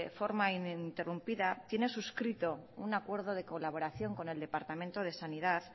forma ininterrumpida tiene suscrito un acuerdo de colaboración con el departamento de sanidad